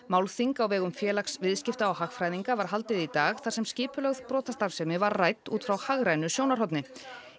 málþing á vegum Félags viðskipta og hagfræðinga var haldið í dag þar sem skipulögð brotastarfsemi var rædd út frá hagrænu sjónarhorni